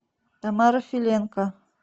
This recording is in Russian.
тамара филенко